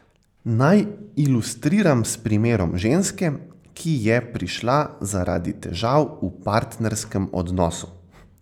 Naj ilustriram s primerom ženske, ki je prišla zaradi težav v partnerskem odnosu.